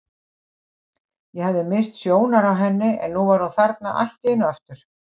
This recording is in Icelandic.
Ég hafði misst sjónar á henni en nú var hún þarna allt í einu aftur.